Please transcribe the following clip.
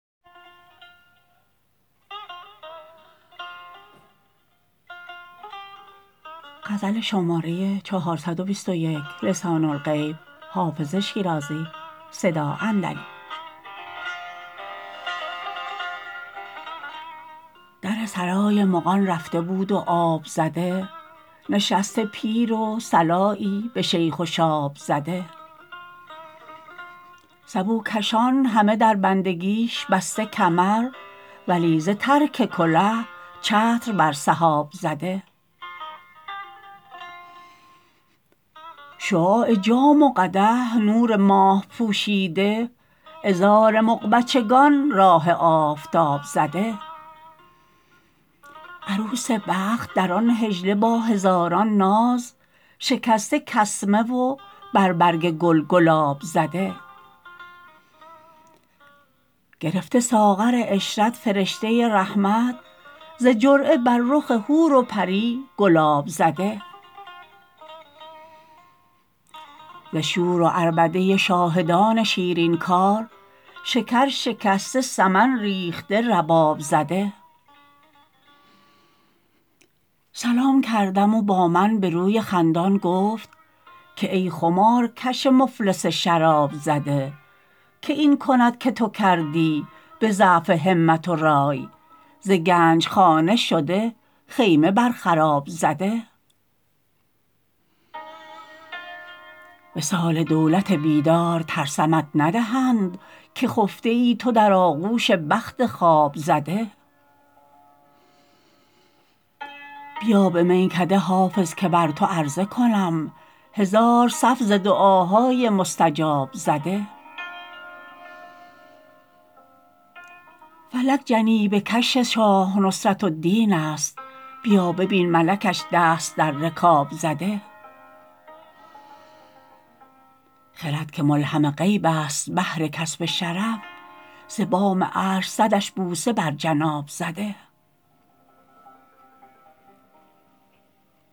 در سرای مغان رفته بود و آب زده نشسته پیر و صلایی به شیخ و شاب زده سبوکشان همه در بندگیش بسته کمر ولی ز ترک کله چتر بر سحاب زده شعاع جام و قدح نور ماه پوشیده عذار مغ بچگان راه آفتاب زده عروس بخت در آن حجله با هزاران ناز شکسته کسمه و بر برگ گل گلاب زده گرفته ساغر عشرت فرشته رحمت ز جرعه بر رخ حور و پری گلاب زده ز شور و عربده شاهدان شیرین کار شکر شکسته سمن ریخته رباب زده سلام کردم و با من به روی خندان گفت که ای خمارکش مفلس شراب زده که این کند که تو کردی به ضعف همت و رای ز گنج خانه شده خیمه بر خراب زده وصال دولت بیدار ترسمت ندهند که خفته ای تو در آغوش بخت خواب زده بیا به میکده حافظ که بر تو عرضه کنم هزار صف ز دعاهای مستجاب زده فلک جنیبه کش شاه نصرت الدین است بیا ببین ملکش دست در رکاب زده خرد که ملهم غیب است بهر کسب شرف ز بام عرش صدش بوسه بر جناب زده